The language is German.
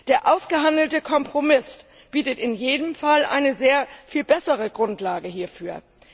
Der ausgehandelte Kompromiss bietet in jedem Fall eine sehr viel bessere Grundlage hierfür.